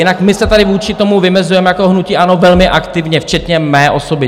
Jinak my se tady vůči tomu vymezujeme jako hnutí ANO velmi aktivně, včetně mé osoby.